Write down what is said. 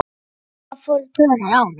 Ég vissi að Lolla fór í taugarnar á honum.